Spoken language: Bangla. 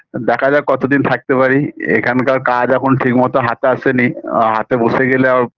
দেখা যাক কতদিন থাকতে পারি এখানকার কাজ এখোনো ঠিকমতো হাতে আসেনি হাতে বসে গেলে আ